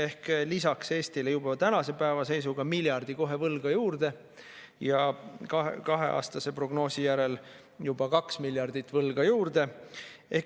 Ehk lisaks tuleks Eestile juba tänase päeva seisuga miljard kohe võlga juurde ja kahe aasta prognoosi järel juba 2 miljardit võlga juurde.